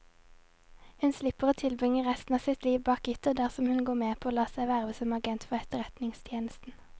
Hun slipper å tilbringe resten av sitt liv bak gitter dersom hun går med på å la seg verve som agent for etterretningstjenesten.